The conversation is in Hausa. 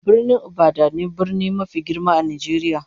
Birnin Ibadan ne brni mafi girma a Najeriya